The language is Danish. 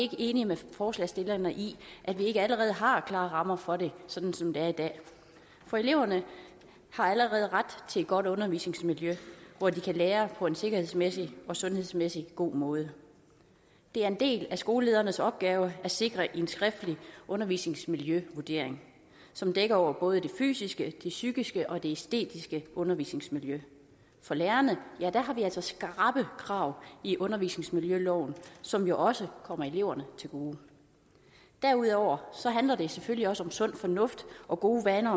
ikke enige med forslagsstillerne i at vi ikke allerede har klare rammer for det sådan som det er i dag for eleverne har allerede ret til et godt undervisningsmiljø hvor de kan lære på en sikkerhedsmæssig og sundhedsmæssig god måde det er en del af skolelederens opgave at sikre en skriftlig undervisningsmiljøvurdering som dækker over både det fysiske det psykiske og det æstetiske undervisningsmiljø for lærerne har vi altså skrappe krav i undervisningsmiljøloven som jo også kommer eleverne til gode derudover handler det selvfølgelig også om sund fornuft og gode vaner